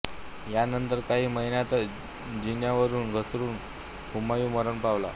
यानंतर काही महिन्यांतच जिन्यावरुन घसरुन हुमायूॅं मरण पावला